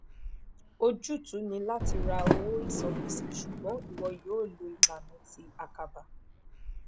ojutu ni lati ra owo isangbese ṣugbọn iwo yoo lo ilana ti akaba